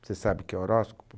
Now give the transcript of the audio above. Você sabe o que é horóscopo?